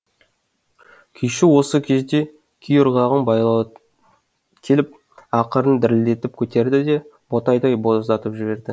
күйші осы кезде күй ырғағын баяулатып келіп ақырын дірілдетіп көтерді де ботадай боздатып жіберді